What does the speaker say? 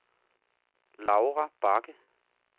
Laura Bagge